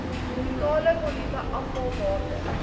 totale volume afvalwater